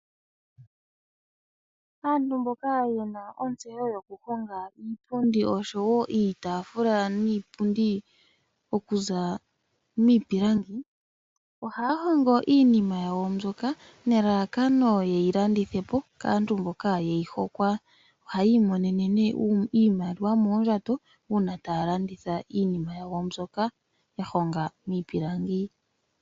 Aantu mboka yena ontseyo yoku honga iipundi oshowo iitaafula niipundi okuza miipilangi, ohaya hongo iinima yawo mbyoka nelalakano ye yi landithe po kaantu mboka ye yi hokwa. Ohayi imonene nee iimaliwa moondjato, uuna taya landitha iinima yawo mbyoka ya honga miipilangi.